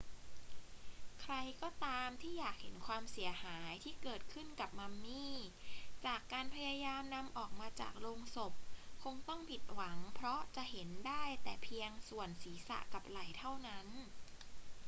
ใครก็ตามที่อยากเห็นความเสียหายที่เกิดขึ้นกับมัมมี่จากการพยายามนำออกมาจากโลงศพคงต้องผิดหวังเพราะจะเห็นได้แต่เพียงส่วนศีรษะกับไหล่เท่านั้น